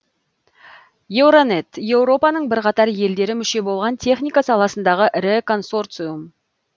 еуронет еуропаның бірқатар елдері мүше болған техника саласындағы ірі консорциум